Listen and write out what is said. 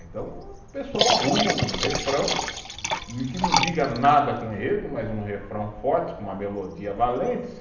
Então o pessoal arruma um refrão que não diga nada com enredo, mas um refrão forte, com uma melodia valente.